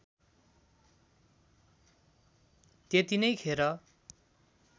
त्यति नै खेर